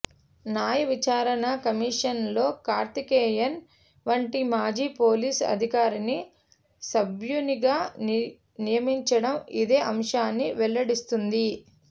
న్యాయ విచారణ కమిషన్ లో కార్తికేయన్ వంటి మాజీ పోలీసు అధికారిని సభ్యునిగా నియమించడం ఇదే అంశాన్ని వెల్లడిస్తోంది